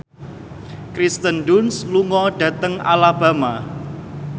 Kirsten Dunst lunga dhateng Alabama